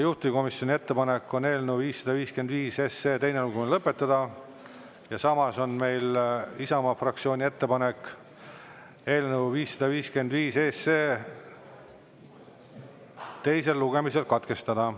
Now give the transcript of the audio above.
Juhtivkomisjoni ettepanek on eelnõu 555 teine lugemine lõpetada ja samas on meil Isamaa fraktsiooni ettepanek eelnõu 555 teisel lugemisel katkestada.